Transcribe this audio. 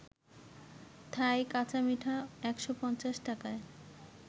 থাই কাঁচামিঠা ১৫০ টাকায়